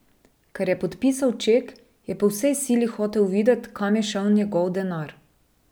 Ker je podpisal ček, je po vsej sili hotel videti, kam je šel njegov denar.